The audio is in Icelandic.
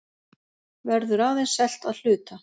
Verður aðeins selt að hluta